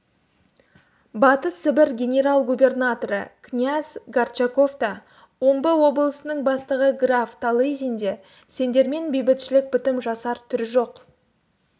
батыс сібір генерал-губернаторы князь горчаков та омбы облысының бастығы граф талызин де сендермен бейбітшілік бітім жасар түрі жоқ